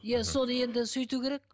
иә соны енді сөйту керек